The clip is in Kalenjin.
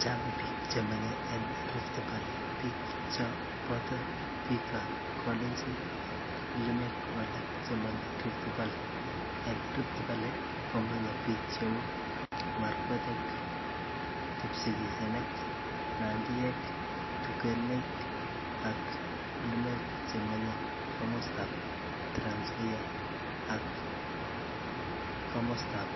chang biik chemenye en rifti valle, biik chon boto biik ab kalenjin ak limeek alaak chenye rifti valley, en rifti valle komye biik cheuu markwetek, kipsigisinik, nandiek, tugeneek ak limeek chemenye komostaab tranzoia ak komostaaab